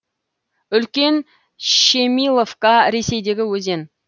үлкен щемиловка ресейдегі өзен